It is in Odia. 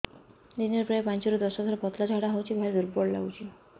ଦିନରେ ପ୍ରାୟ ପାଞ୍ଚରୁ ଦଶ ଥର ପତଳା ଝାଡା ହଉଚି ଭାରି ଦୁର୍ବଳ ଲାଗୁଚି